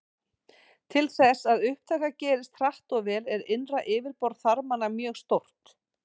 Til þess að upptaka gerist hratt og vel er innra yfirborð þarmanna mjög stórt.